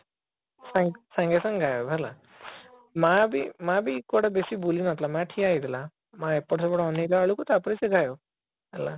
ସାଙ୍ଗେ ସାଙ୍ଗେ ଆଉ ହେଲା ମା ବି ମା ବି କୁଆଡେ ବେଶୀ ବୁଲି ନଥିଲା ମା ଠିଆ ହେଇଥିଲା ମା ଅପଟ ସେପଟ ଅନେଇଲା ବେଳକୁ ତାପରେ ସେ ହେଲା